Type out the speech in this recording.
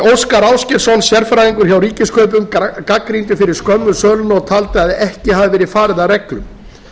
óskar ásgeirsson sérfræðingur hjá ríkiskaupum gagnrýndi fyrir skömmu söluna og taldi að ekki hefði verið farið að reglum